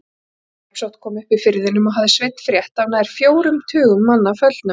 Drepsótt kom upp í firðinum og hafði Sveinn frétt af nær fjórum tugum manna föllnum.